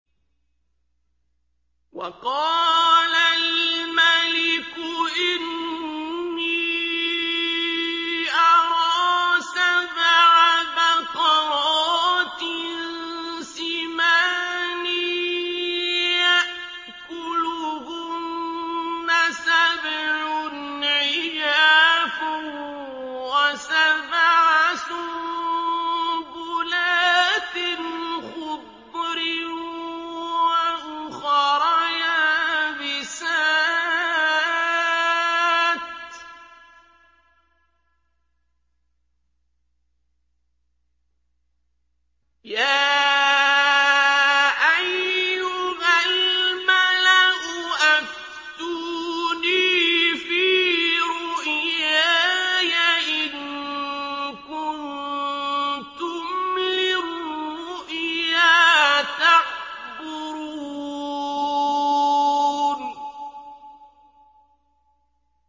وَقَالَ الْمَلِكُ إِنِّي أَرَىٰ سَبْعَ بَقَرَاتٍ سِمَانٍ يَأْكُلُهُنَّ سَبْعٌ عِجَافٌ وَسَبْعَ سُنبُلَاتٍ خُضْرٍ وَأُخَرَ يَابِسَاتٍ ۖ يَا أَيُّهَا الْمَلَأُ أَفْتُونِي فِي رُؤْيَايَ إِن كُنتُمْ لِلرُّؤْيَا تَعْبُرُونَ